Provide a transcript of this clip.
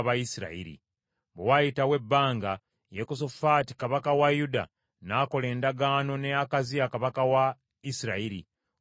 Bwe waayitawo ebbanga, Yekosafaati kabaka wa Yuda n’akola endagaano ne Akaziya kabaka wa Isirayiri, omukozi w’ebibi.